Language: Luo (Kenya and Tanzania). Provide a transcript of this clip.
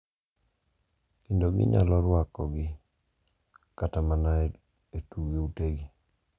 Kendo ginyalo rwakogi kata mana e utegi.